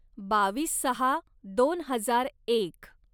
बावीस सहा दोन हजार एक